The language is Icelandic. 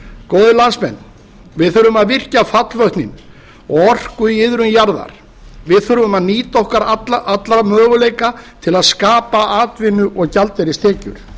góðir landsmenn við þurfum að virkja fallvötn og orku í iðrum jarðar við þurfum að nýta alla okkar möguleika til að skapa atvinnu og gjaldeyristekjur